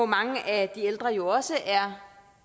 mange af de ældre jo også er